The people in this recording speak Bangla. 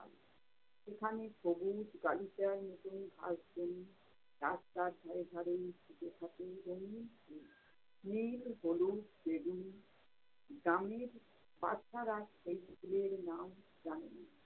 সেখানে সবুজ গালিচায় নতুন ঘাস বন। রাস্তার ধারে ধারে ফুটে থাকে রঙিন ফুল নীল হলুদ বেগুনি গ্রামের বাছারা সেই ফুলের নাম জানে না।